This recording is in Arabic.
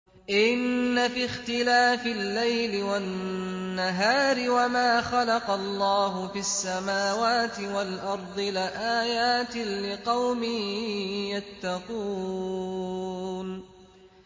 إِنَّ فِي اخْتِلَافِ اللَّيْلِ وَالنَّهَارِ وَمَا خَلَقَ اللَّهُ فِي السَّمَاوَاتِ وَالْأَرْضِ لَآيَاتٍ لِّقَوْمٍ يَتَّقُونَ